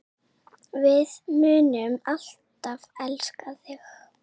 Við munum alltaf elska þig.